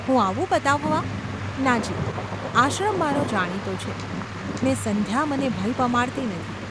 હું ​ આવું બતાવવા ?’ ‘ના, જી ! આશ્રમ મારો જાણીતો છે, ને સંધ્યા મને ભય પમાડતી નથી.